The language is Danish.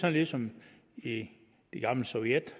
er ligesom i det gamle sovjet